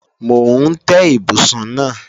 Mò ń tẹ́ ibùsùn náà